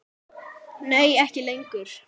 Nei ekki lengur.